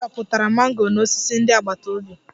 Anyị dọpụtara mango n'osisi ndị agbata obi